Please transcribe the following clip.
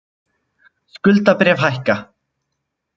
Skuldabréf hækka